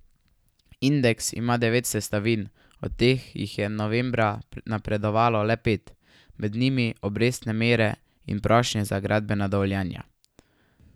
Indeks ima deset sestavin, od katerih jih je novembra napredovalo le pet, med njimi obrestne mere in prošnje za gradbena dovoljenja.